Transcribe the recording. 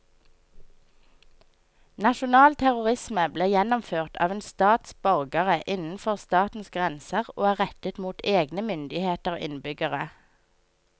Nasjonal terrorisme blir gjennomført av en stats borgere innenfor statens grenser og er rettet mot egne myndigheter og innbyggere.